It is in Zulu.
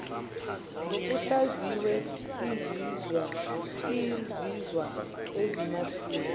ngokuhlaziya izinzwa ezamasiko